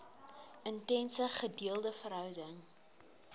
intense gedeelde verhouding